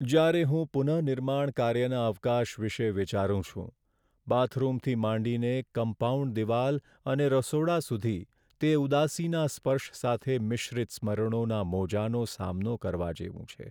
જ્યારે હું પુનઃનિર્માણ કાર્યના અવકાશ વિશે વિચારું છું, બાથરૂમથી માંડીને કમ્પાઉન્ડ દિવાલ અને રસોડા સુધી તે ઉદાસીના સ્પર્શ સાથે મિશ્રિત સ્મરણોના મોજાંનો સામનો કરવા જેવું છે.